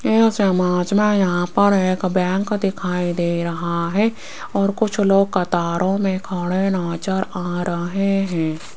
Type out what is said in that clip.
इस इमेज में यहां पर एक बैंक दिखाई दे रहा है और कुछ लोग कतारों में खड़े नजर आ रहा हैं।